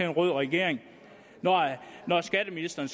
en rød regering når skatteministeren